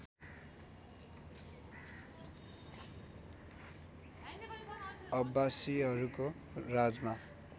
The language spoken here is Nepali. अब्बासिहरूको राजमा